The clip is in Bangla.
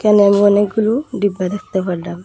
এখানে আমি অনেকগুলু ডিব্বা দেখতে পারলাম।